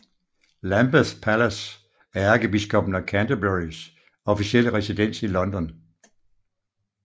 Lambeth Palace er ærkebiskoppen af Canterburys officielle residens i London